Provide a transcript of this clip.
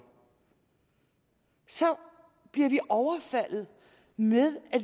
så bliver vi overfaldet med at